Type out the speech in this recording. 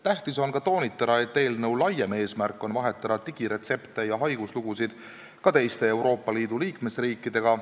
Tähtis on ka toonitada, et eelnõu laiem eesmärk on vahetada digiretsepte ja haiguslugusid ka teiste Euroopa Liidu liikmesriikidega.